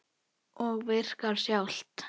Og virkið sjálft?